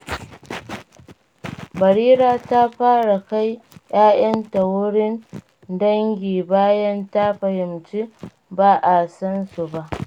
Barira ta fara kai 'ya'yanta wurin dangi bayan ta fahimci ba a san su ba.